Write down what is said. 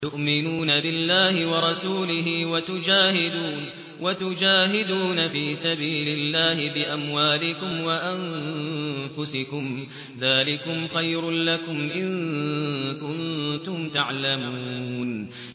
تُؤْمِنُونَ بِاللَّهِ وَرَسُولِهِ وَتُجَاهِدُونَ فِي سَبِيلِ اللَّهِ بِأَمْوَالِكُمْ وَأَنفُسِكُمْ ۚ ذَٰلِكُمْ خَيْرٌ لَّكُمْ إِن كُنتُمْ تَعْلَمُونَ